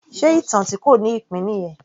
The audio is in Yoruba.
Ṣe ìtàn tí kò ní ìpín nìyẹn?